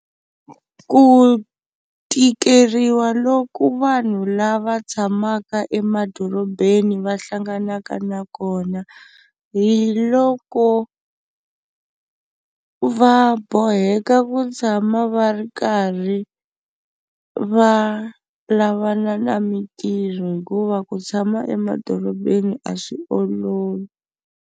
Ku tikeriwa loku vanhu lava tshamaka emadorobeni va hlanganaka na kona, hi loko va boheka ku tshama va ri karhi va lavana na mintirho hikuva ku tshama emadorobeni a swi olovi.